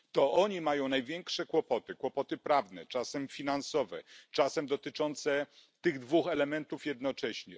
To oni mają największe kłopoty, kłopoty prawne, czasem finansowe, czasem dotyczące tych dwóch elementów jednocześnie.